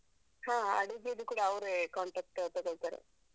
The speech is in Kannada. ಹ, ಅಡುಗೆಯದ್ದು ಕೂಡ ಅವ್ರೇ contract ತಗೋಳ್ತಾರೆ.